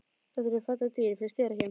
Þetta eru falleg dýr, finnst þér ekki?